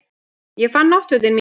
Ég fann náttfötin mín.